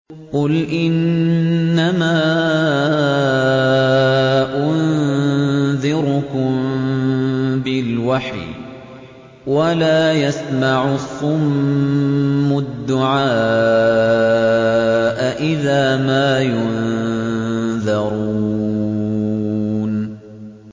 قُلْ إِنَّمَا أُنذِرُكُم بِالْوَحْيِ ۚ وَلَا يَسْمَعُ الصُّمُّ الدُّعَاءَ إِذَا مَا يُنذَرُونَ